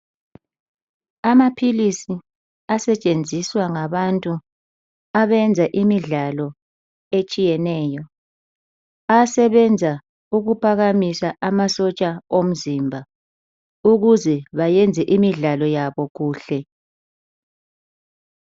Amaphilisi asetshenziswa ngabantu abenza imidlalo etshiyeneyo, ayasebenza ukuphakamisa amasotsha omzimba ukuze bayenze imidlalo yabo kuhle.